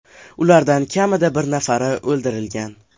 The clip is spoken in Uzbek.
Ulardan kamida bir nafari o‘ldirilgan.